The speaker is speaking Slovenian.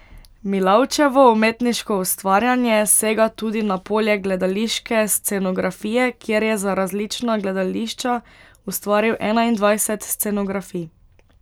Milavčevo umetniško ustvarjanje sega tudi na polje gledališke scenografije, kjer je za različna gledališča ustvaril enaindvajset scenografij.